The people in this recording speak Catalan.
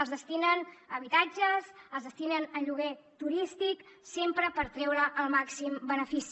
els destinen a habitatges els destinen a lloguer turístic sempre per treure’n el màxim benefici